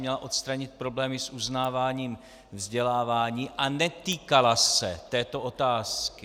Měla odstranit problémy s uznáváním vzdělávání a netýkala se této otázky.